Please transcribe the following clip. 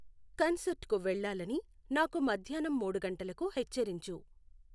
concert కు వెళ్ళాలని నాకు మధ్యాన్నం మూడు గంటలకు హెచ్చరించు